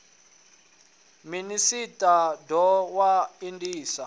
minis a doa na indas